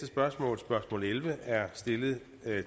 spørgsmål spørgsmål elleve er stillet